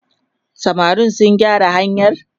samarin sun gyara hanyar?